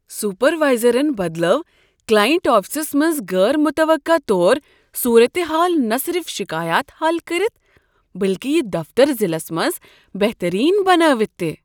سپروایزرن بدلٲو کلاینٛٹ آفسس منٛز غیر متوقع طور صورت حال نہ صرف شکایات حل کٔرتھ بلکہ یہ دفتر ضلعس منز بہترین بنٲوتھ تہ۔